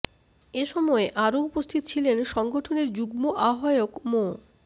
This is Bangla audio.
এ সময় আরো উপস্থিত ছিলেন সংগঠনের যুগ্ম আহ্বায়ক মো